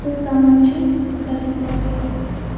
то самое чувство когда ты вроде